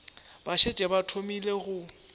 ba šetše ba thomile go